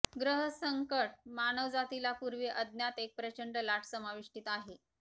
ग्रह संकट मानवजातीला पूर्वी अज्ञात एक प्रचंड लाट समाविष्टीत आहे